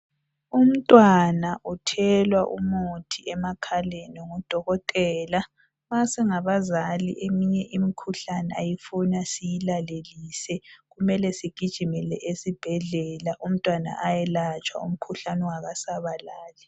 Umntwana uthelwa umuthi emakhaleni ngudokotela. Nxa singabazali eminye imikhuhlane ayifuni siyilalelise kumele sigijimele esibhedlela umntwana ayelatshwa umkhuhlane ungakasabalali.